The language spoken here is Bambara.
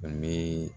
N bɛ